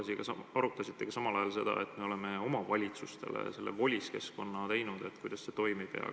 Ja kas te arutasite seda, et me oleme omavalitsustele selle VOLIS keskkonna teinud, kuidas see toimib?